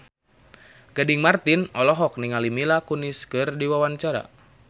Gading Marten olohok ningali Mila Kunis keur diwawancara